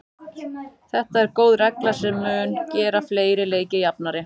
Þetta er góð regla sem mun gera fleiri leiki jafnari.